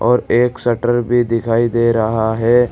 और एक शटर भी दिखाई दे रहा है।